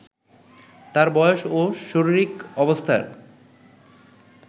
তার বয়স ও শরীরিক অবস্থা